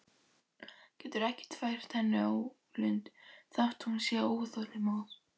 Ekkert getur fært henni ólund þótt hún sé óþolinmóð.